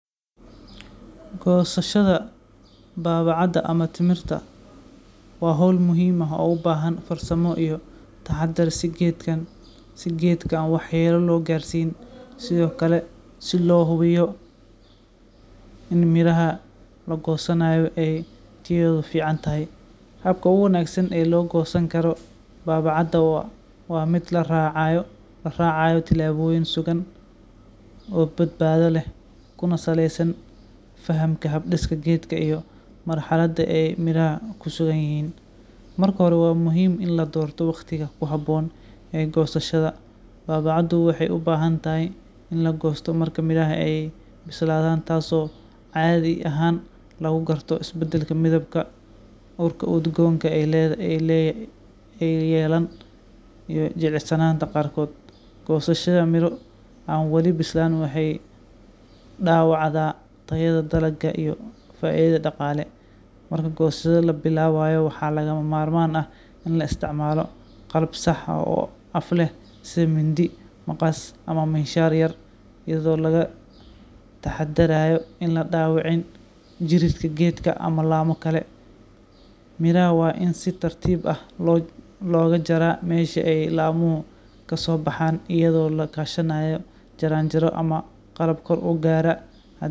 Goosashada baabacada ama timirta waa hawl muhiim ah oo u baahan farsamo iyo taxaddar si geedka aan waxyeello loo gaarsiin, sidoo kale si loo hubiyo in midhaha la goosanayo ay tayadoodu fiican tahay. Habka ugu wanaagsan ee loo goosan karo baabacada waa mid la raacayo tillaabooyin sugan oo badbaado leh, kuna saleysan fahamka hab-dhiska geedka iyo marxaladda ay midhaha ku sugan yihiin. Marka hore, waa muhiim in la doorto waqtiga ku habboon ee goosashada. Baabacadu waxay u baahantahay in la goosto marka midhaha ay bislaadaan, taasoo caadi ahaan lagu garto isbeddelka midabka, urka udgoon ee ay yeelaan, iyo jilicsanaanta qaarkood. Goosashada midho aan weli bislaan waxay dhaawacdaa tayada dalagga iyo faa’iidada dhaqaale. Marka goosashada la bilaabayo, waxaa lagama maarmaan ah in la isticmaalo qalab sax ah oo af leh sida mindi, maqas ama miinshaar yaryar, iyadoo laga taxadarayo in la dhaawicin jirridda geedka ama laamo kale. Midhaha waa in si tartiib ah looga jaraa meesha ay laamuhu ka soo baxaan, iyadoo la kaashanayo jaranjaro ama qalab kor u gaara haddii